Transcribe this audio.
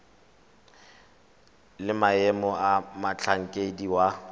le maemo a motlhankedi wa